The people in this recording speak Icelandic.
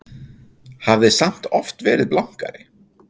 Hafði samt oft verið blankari.